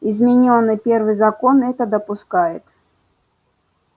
изменённый первый закон это допускает